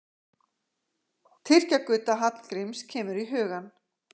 Tyrkja-Gudda Hallgríms kemur í hugann.